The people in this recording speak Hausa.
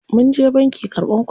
Munje banki karɓan kuɗi.